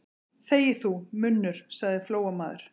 Þegi þú, munnur, sagði Flóamaður.